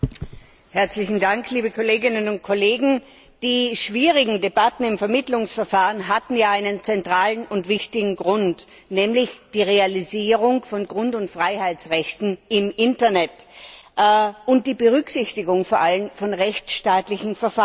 Herr Präsident, liebe Kolleginnen und Kollegen! Die schwierigen Debatten im Vermittlungsverfahren hatten einen zentralen und wichtigen Grund, nämlich die Realisierung von Grund und Freiheitsrechten im Internet, vor allem die Berücksichtigung von rechtsstaatlichen Verfahren.